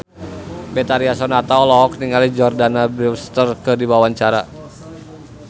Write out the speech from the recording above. Betharia Sonata olohok ningali Jordana Brewster keur diwawancara